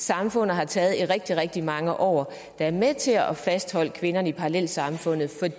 samfundet har taget i rigtig rigtig mange år der er med til at fastholde kvinderne i parallelsamfundet